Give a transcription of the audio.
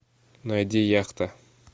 найди яхта